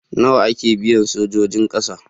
Nawa ake biyan sojojin ƙasa?